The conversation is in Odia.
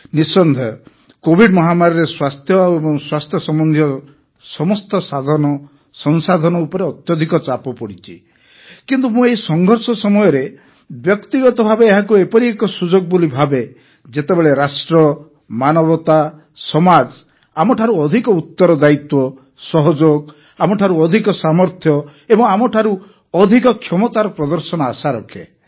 ନିଃସନ୍ଦେହ କୋଭିଡ଼ ମହାମାରୀରେ ସ୍ୱାସ୍ଥ୍ୟ ଓ ସ୍ୱାସ୍ଥ୍ୟ ସମ୍ବନ୍ଧୀୟ ସମସ୍ତ ସାଧନସଂସାଧନ ଉପରେ ଅତ୍ୟଧିକ ଚାପ ପଡ଼ିଛି କିନ୍ତୁ ମୁଁ ଏହି ସଂଘର୍ଷ ସମୟରେ ବ୍ୟକ୍ତିଗତ ଭାବେ ଏହାକୁ ଏପରି ଏକ ସୁଯୋଗ ବୋଲି ଭାବେ ଯେତେବେଳେ ରାଷ୍ଟ୍ର ମାନବତା ସମାଜ ଆମଠାରୁ ଅଧିକ ଉତ୍ତରଦାୟିତ୍ୱ ସହଯୋଗ ଆମଠାରୁ ଅଧିକ ସାମର୍ଥ୍ୟ ଓ ଆମଠାରୁ ଅଧିକ କ୍ଷମତାର ପ୍ରଦର୍ଶନ ଆଶା ରଖେ